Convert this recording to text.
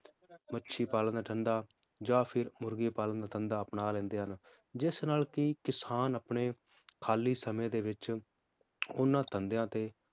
ਮੱਛੀ ਪਾਲਣ ਦਾ ਧੰਦਾ ਜਾਂ ਫਿਰ ਮੁਰਗੀ ਪਾਲਣ ਦਾ ਧੰਦਾ ਅਪਣਾ ਲੈਂਦੇ ਹਨ ਜਿਸ ਨਾਲ ਕਿ ਕਿਸਾਨ ਆਪਣੇ ਖਾਲੀ ਸਮੇ ਦੇ ਵਿਚ ਉਹਨਾਂ ਧੰਦਿਆਂ ਤੇ